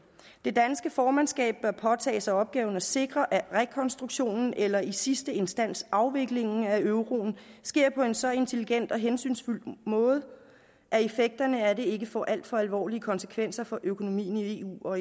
det danske formandskab bør påtage sig opgaven med at sikre at rekonstruktionen eller i sidste instans afviklingen af euroen sker på en så intelligent og hensynsfuld måde at effekterne af det ikke får alt for alvorlige konsekvenser for økonomien i eu og